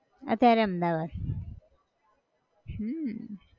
અત્યારે અમદાવાદ, હમ